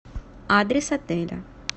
адрес отеля